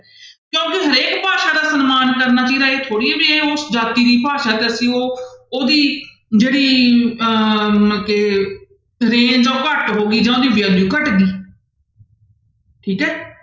ਕਿਉਂਕਿ ਹਰੇਕ ਭਾਸ਼ਾ ਦਾ ਸਨਮਾਨ ਕਰਨਾ ਇਹ ਥੋੜ੍ਹੀ ਹੈ ਵੀ ਇਹ ਉਸ ਜਾਤੀ ਦੀ ਭਾਸ਼ਾ ਤੇ ਅਸੀਂ ਉਹ ਉਹਦੀ ਜਿਹੜੀ ਅਹ ਮਤਲਬ ਕਿ ਘੱਟ ਹੋ ਗਈ ਜਾਂ ਉਹਦੀ ਘੱਟ ਗਈ ਠੀਕ ਹੈ।